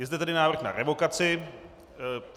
Je zde tady návrh na revokaci.